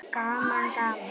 Gaman gaman!